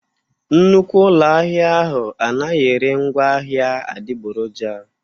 Nnukwu ụlọ ahịa ahụ anaghị ere ngwaahịa adịgboroja.